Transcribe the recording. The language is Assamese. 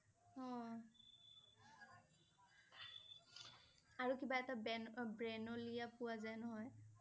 অ' আৰু কিবা এটা ব্ৰেন~অ ব্ৰেনলিয়া পোৱা যায় নহয় ।